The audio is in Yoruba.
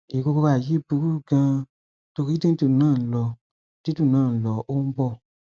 ìrora yìí burú ganan torí dídùn náà lọ dídùn náà lọ ó ń bọ